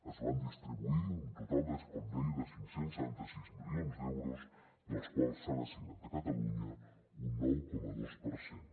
es van distribuir un total com deia de cinc cents i setanta sis milions d’euros dels quals s’han assignat a catalunya un nou coma dos per cent